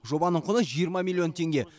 жобаның құны жиырма миллион теңге